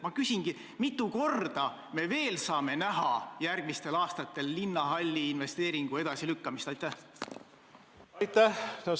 Ma küsingi: mitu korda me veel saame järgmistel aastatel näha linnahalli investeeringu edasilükkamist?